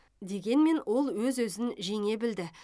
дегенмен ол өз өзін жеңе білді